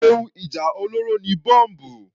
Ohun ìjà olóró ni Bọ́mbù.